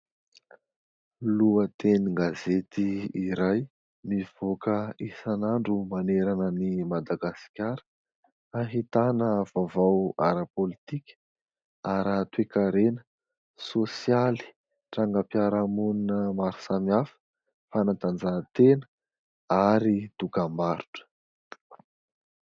Lohatenin-gazety iray mivoaka isan'andro manerana an'i Madagasikara. Ahitana vaovao ara-politika, ara-toe-karena, sosialy, trangam-piaraha-monina maro samihafa, fanatanjahantena ary dokambarotra.